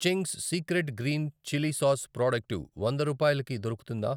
Ching's secret green chilli sauce product వంద రూపాయలకు దొరుకుతుందా?